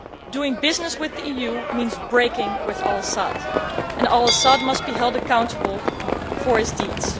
Doing business with the EU means breaking with al Assad, and al Assad must be held accountable for his deeds.